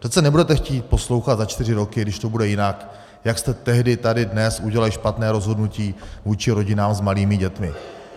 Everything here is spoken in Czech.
Přece nebudete chtít poslouchat za čtyři roky, když to bude jinak, jak jste tehdy tady dnes udělali špatné rozhodnutí vůči rodinám s malými dětmi.